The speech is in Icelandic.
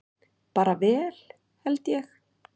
Bara vel held ég.